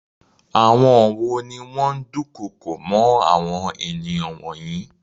Àwọn wo ni wọ́n dukoko mọ́ àwọn ènìyàn wọ̀nyí?